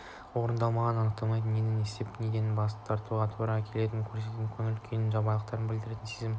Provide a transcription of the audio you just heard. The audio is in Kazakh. орындалмағанын анықтайтын нені істеп неден бас тартуға тура келетінін көрсететін көңіл күйдің жайбарақаттығын білдіретін сезім